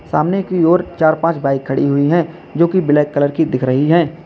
सामने की ओर चार पांच बाइक खड़ी हुई है जो की ब्लैक कलर की दिख रही है।